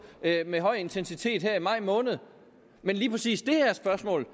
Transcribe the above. med høj intensitet her i maj måned men lige præcis det her spørgsmål